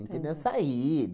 Saí.